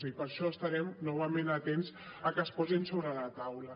i per això estarem novament atents a que es posin sobre la taula